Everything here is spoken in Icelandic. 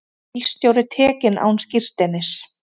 Bílstjóri tekinn án skírteinis